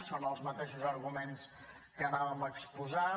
són els mateixos arguments que volíem exposar